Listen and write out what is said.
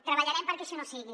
treballarem perquè això no sigui